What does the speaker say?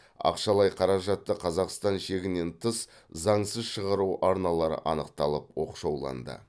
ақшалай қаражатты қазақстан шегінен тыс заңсыз шығару арналары анықталып оқшауланды